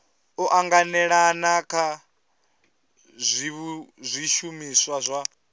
u anganelana kha zwishumiswa zwa